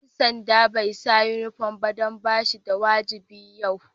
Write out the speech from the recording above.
Dan sanda'n bai sa uniform ba dan ba shi da wajibi yau.